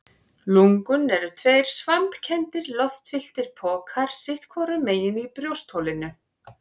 Lungun eru tveir svampkenndir, loftfylltir pokar sitt hvorum megin í brjóstholinu.